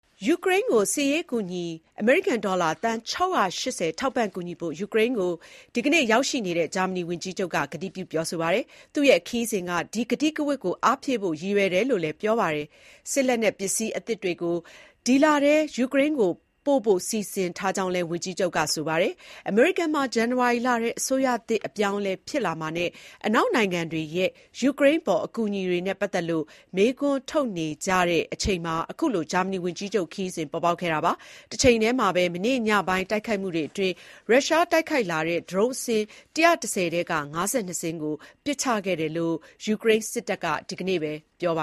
ယူကရိန်းကို စစ်ရေးအကူအညီ အမေရိကန်ဒေါ်လာ သန်း ၆၈၀ ထောက်ပံ့ကူညီဖို့ ယူကရိန်းကို ဒီကနေ့ ရောက်ရှိနေတဲ့ ဂျာမနီဝန်ကြီးချုပ် Olaf Scholz က ကတိပြုပြောဆိုပါတယ်။ သူ့ရဲ့ အခုခရီးစဉ်က ဒီကတိကဝတ်ကို အားဖြည့်ဖို့ရည်ရွယ်တယ်လို့လည်း ပြောပါတယ်။ စစ်လက်နက်ပစ္စည်းအသစ်တွေကို ဒီလထဲ ယူကရိန်းကို ပို့ဖို့ စီစဉ်ထားကြောင်း လည်း ဝန်ကြီးချုပ် Olaf Scholz ကပြောပါတယ်။ အမေရိကန်မှာ ဇန်နဝါရီလထဲ အစိုးရသစ်အပြောင်းအလဲ ဖြစ်လာမှာနဲ့ အနောက်နိုင်ငံတွေရဲ့ ယူကရိန်းအပေါ် အကူအညီတွေနဲ့ ပတ်သက်လို့ မေးခွန်းထုတ်နေကြတဲ့ အချိန်မှာ အခုလို ဂျာမနီဝန်ကြီးချုပ် ခရီးစဉ်ပေါ်ပေါက်တာပါ။ တချိန်ထဲမှာပဲ မနေ့ညပိုင်းတိုက်ခိုက်မှုတွေအတွင်း ရုရှားတိုက်ခိုက်လာတဲ့ ဒရုန်းအစင်း ၁၁၀ ထဲက ၅၂ စင်းကိုပစ်ချခဲ့တယ်လို့ ယူကရိန်းစစ်တပ်က ဒီနေ့ပြောပ